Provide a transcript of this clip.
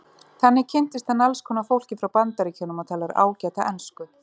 Þannig kynntist hann alls konar fólki frá Bandaríkjunum og talar ágæta ensku.